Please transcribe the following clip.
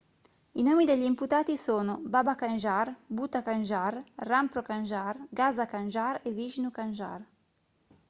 i nomi degli imputati sono baba kanjar bhutha kanjar rampro kanjar gaza kanjar e vishnu kanjar